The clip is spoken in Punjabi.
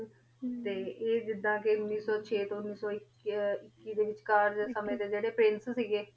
ਟੀ ਜੇਦਾਂ ਕੀ ਉਨੀ ਸੋ ਚੀਤੁਨ ਉਨੀ ਸੋ ਏਕੇਈ ਡੀ ਵੇਚ ਕਰ ਸਮੁਏਯਨ ਦੀ ਜੇਰੀ